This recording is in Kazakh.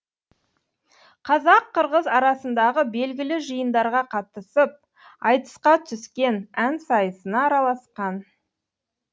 қазақ қырғыз арасындағы белгілі жиындарға қатысып айтысқа түскен ән сайысына араласқан